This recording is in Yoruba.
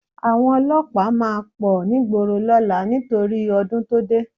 Àwọn olọ́pàá máa pọ̀ nígboro lọ́la nítorí ọdún tó dé